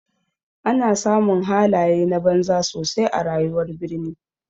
Ana samun halaye na banza sosai a rayuwar birni.